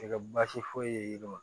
Tɛ kɛ baasi foyi ye